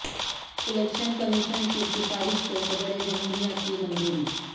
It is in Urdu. الیکشن کمیشن کی سفارش کو صدر جمہوریہ کی منظوری